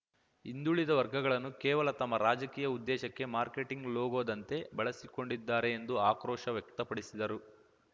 ಹಿಂದುಳಿದ ವರ್ಗಗಳನ್ನು ಕೇವಲ ತಮ್ಮ ರಾಜಕೀಯ ಉದ್ದೇಶಕ್ಕೆ ಮಾರ್ಕೆಟಿಂಗ್‌ ಲೋಗೋದಂತೆ ಬಳಸಿಕೊಂಡಿದ್ದಾರೆ ಎಂದು ಆಕ್ರೋಶ ವ್ಯಕ್ತಪಡಿಸಿದರು